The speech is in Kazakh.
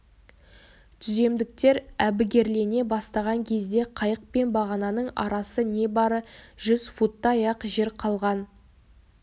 түземдіктер әбігерлене бастаған кезде қайық пен бағананың арасы небары жүз футтай-ақ жер қалған